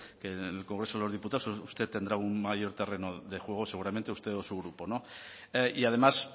que en el congreso de los diputados usted tendrá un mayor terreno de juego seguramente usted o su grupo no y además